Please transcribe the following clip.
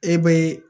E be